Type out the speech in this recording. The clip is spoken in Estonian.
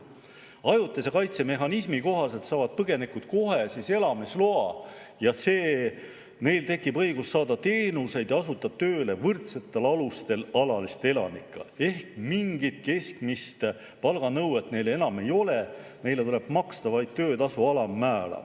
Ajutise kaitse mehhanismi kohaselt saavad põgenikud kohe elamisloa ja neil tekib õigus saada teenuseid ja asuda tööle võrdsetel alustel alaliste elanikega ehk mingit keskmist palganõuet neile enam ei ole, neile tuleb maksta vaid töötasu alammäära.